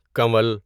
کنول